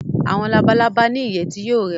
Awọn Labalaba ni iye ti yoo rẹwa